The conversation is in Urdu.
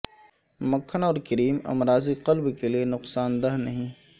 مکھن اور کریم امراض قلب کیلئے نقصان دہ نہیں